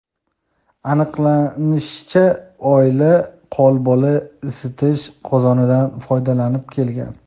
Aniqlanishicha, oila qo‘lbola isitish qozonidan foydalanib kelgan.